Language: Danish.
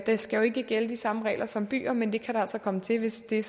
der skal jo ikke gælde de samme regler som i byer men det kan der altså komme til hvis det